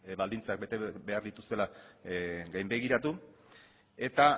baldintzak bete behar dituztela gainbegiratu eta